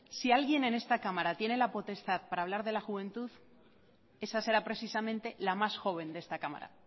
si alguien en esta cámara tiene la potestad para hablar de la juventud esa será precisamente la más joven de esta cámara